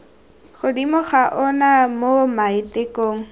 godimo ga ona mo maitekong